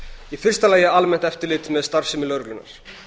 í fyrsta lagi almennt eftirlit með starfsemi lögreglunnar